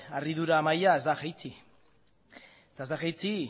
harridura maila ez da jaitsi eta ez da jaitsi